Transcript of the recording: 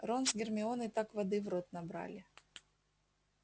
рон с гермионой так воды в рот набрали